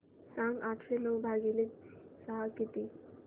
सांगा आठशे नऊ भागीले सहा किती